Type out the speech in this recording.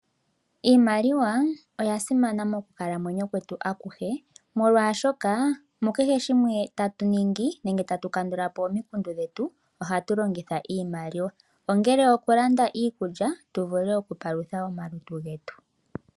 Iimaliwa oya simana moku kalamwenyo kwetu akuhe molwaashoka mukehe shimwe tayu ningi nenge tatu kandulapo omikundu dhetu ohatu longitha iimaliwa ongele okulanda iikulya tovule oku palutha omalutu getu.